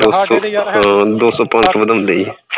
ਦੋ ਸੋ ਪੰਜ ਸੋ ਵਧਾਂਦੇ ਈ ਐ